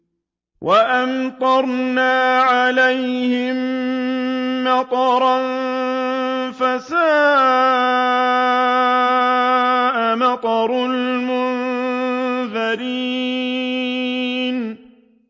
وَأَمْطَرْنَا عَلَيْهِم مَّطَرًا ۖ فَسَاءَ مَطَرُ الْمُنذَرِينَ